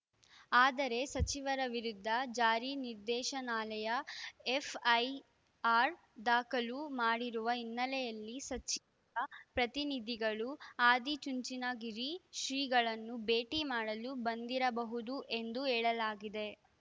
ಆದರೆ ಸಚಿವರ ವಿರುದ್ಧ ಜಾರಿ ನಿರ್ದೇಶನಾಲಯ ಎಫ್‌ಐಆರ್‌ ದಾಖಲು ಮಾಡಿರುವ ಹಿನ್ನೆಲೆಯಲ್ಲಿ ಸಚಿ ಹ ಪ್ರತಿನಿಧಿಗಳು ಆದಿಚುಂಚನಗಿರಿ ಶ್ರೀಗಳನ್ನು ಭೇಟಿ ಮಾಡಲು ಬಂದಿದ್ದಿರಬಹುದು ಎಂದು ಹೇಳಲಾಗಿದೆ